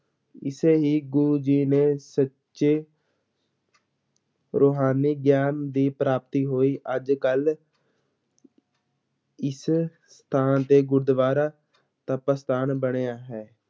ਇੱਥੇ ਹੀ ਗੁਰੂ ਜੀ ਨੇ ਸੱਚੇ ਰੁਹਾਨੀ ਗਿਆਨ ਦੀ ਪ੍ਰਾਪਤੀ ਹੋਈ, ਅੱਜ ਕੱਲ ਇਸ ਸਥਾਨ ਤੇ ਗੁਰਦੁਆਰਾ ਤਪ ਅਸਥਾਨ ਬਣਿਆ ਹੈ।